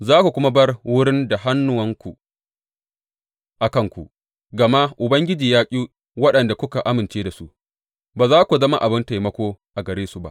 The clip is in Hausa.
Za ku kuma bar wurin da hannuwanku a kanku, gama Ubangiji ya ƙi waɗanda kuka amince da su; ba za ku zama abin taimako a gare su ba.